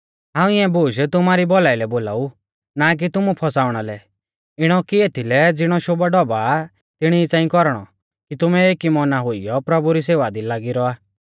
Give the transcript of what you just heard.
हाऊं इऐं बूश तुमारी भौलाई लै बोलाऊ ना कि तुमु फौसाउणा लै इणौ कि एथीलै ज़िणौ शोभाढौभा आ तिणी ई च़ांई कौरणौ कि तुमै एकी मौना हुइयौ प्रभु री सेवा दी लागी रौआ